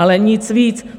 Ale nic víc.